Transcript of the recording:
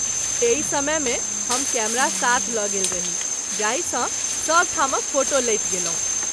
एहि समय मे हम कैमरा साथ ल’ गेल रही जाहि सँ सभ ठामक फोटो लैत गेलहुँ।